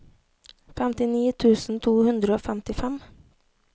femtini tusen to hundre og femtifem